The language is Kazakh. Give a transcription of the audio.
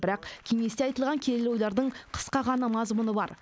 бірақ кеңесте айтылған келелі ойлардың қысқа ғана мазмұны бар